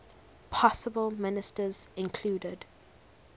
possible ministers included